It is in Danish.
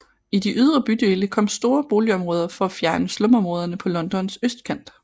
I de ydre bydele kom store boligområder for at fjerne slumområderne på Londons østkant